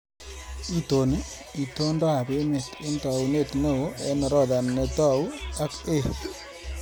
Itoni itondoab emet eng taunit neo eng orodha netou ak A